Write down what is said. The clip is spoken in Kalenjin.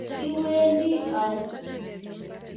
Iwendi au?